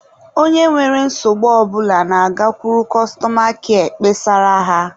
Onye nwere nsogbu ọ bụla na-agakwuru kọstọma kịa kpesara ha.